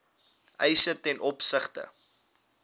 eise ten opsigte